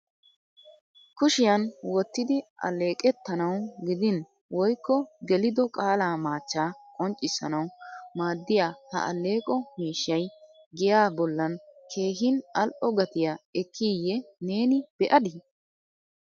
Kushiyan wottidi alleeqetanaw gidin woykko gelido qaala machchaa qonccissanaw maaddiya ha alleeqo miishshay giyaa bollan keehin al"o gatiya ekkiye neeni be'adi?